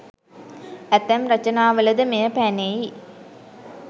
ඇතැම් රචනාවලද මෙය පැනෙයි